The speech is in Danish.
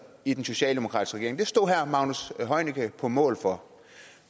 i den socialdemokratiske regering det stod herre magnus heunicke på mål for